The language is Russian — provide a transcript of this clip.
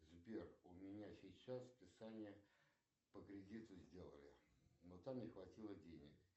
сбер у меня сейчас списание по кредиту сделали но там не хватило денег